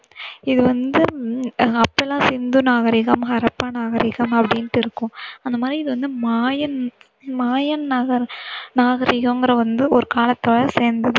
இது வந்து அப்போயெல்லாம் சிந்து நாகரிகம், ஹரப்பா நாகரிகம் அப்படின்னுட்டு இருக்கும். அந்த மாதிரி இது வந்து மாயன் மாயன் நாகரி~ நாகரிகங்கிற ஒரு காலத்துல சேர்ந்தது.